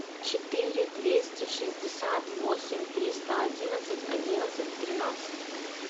четыре двести шестьдесят восемь триста одиннадцать одиннадцать тринадцать